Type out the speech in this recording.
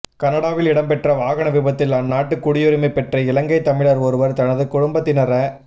கனடாவில் இடம்பெற்ற வாகன விபத்தில் அந்நாட்டு குடியுரிமை பெற்ற இலங்கை தமிழர் ஒருவர் தனது குடும்பத்தினர